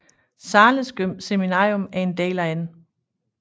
Zahles Seminarium en del af N